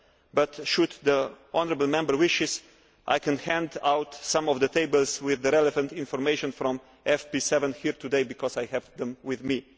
But, if the honourable Member wishes, I could hand out some of the tables with the relevant information from FP7 here today, because I have them with me.